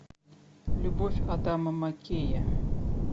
любовь адама маккея